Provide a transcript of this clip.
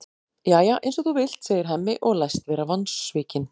Jæja, eins og þú vilt, segir Hemmi og læst vera vonsvikinn.